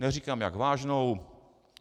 Neříkám, jak vážnou.